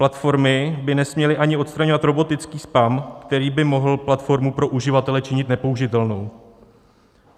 Platformy by nesměly ani odstraňovat robotický spam, který by mohl platformu pro uživatele činit nepoužitelnou.